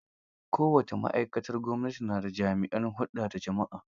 Kowace ma'aikatar gwamnati na da jami'in hulɗa da jama'a.